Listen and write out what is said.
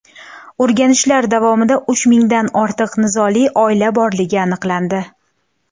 O‘rganishlar davomida uch mingdan ortiq nizoli oila borligi aniqlandi.